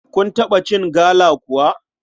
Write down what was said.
Kun taɓa cin gala kuwa?